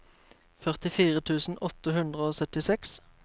førtifire tusen åtte hundre og syttiseks